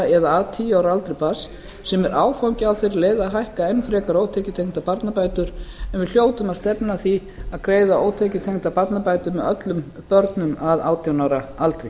eða að tíu ára aldri barns sem er áfangi á þeirri leið að hækka enn frekar ótekjutengdar barnabætur en við hljótum að stefna að því að greiða ótekjutengdar barnabætur með öllum börnum að átján ára aldri